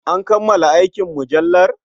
An kammala aikin mujallar?